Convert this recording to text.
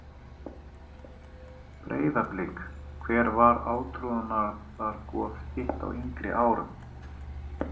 Breiðablik Hver var átrúnaðargoð þitt á yngri árum?